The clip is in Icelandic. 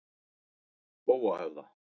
Spóahöfða